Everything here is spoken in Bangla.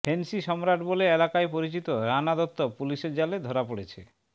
ফেন্সি সম্রাট বলে এলাকায় পরিচিত রানা দত্ত পুলিশের জালে ধরা পড়েছে